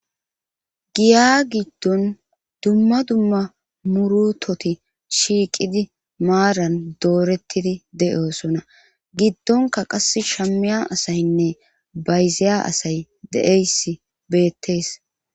giya giddon dumma dumma murutoti shiiqidi maaran doorettidi de7osona giddonka qass shammiya asaynne bayziya asay de7eyss beettees